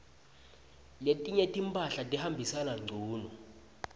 letinye timphahla tihambisana ngcunu